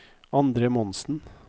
Andre Monsen